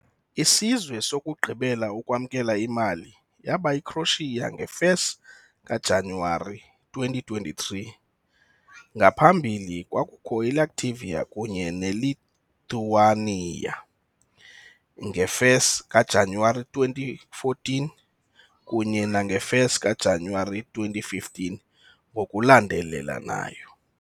Isizwe sokugqibela ukwamkela imali yaba yiCroatia 1 January 2023, ngaphambili kwakukho Latvia kunye Lithuania, 1 January 2014 kunye 1 January 2015 ngokulandelalanayo.